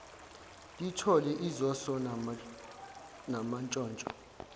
lithole izoso namantshontsho